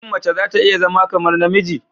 Shin mace za ta iya zama kamar namiji?